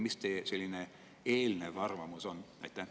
Mis teie selline eelnev arvamus on?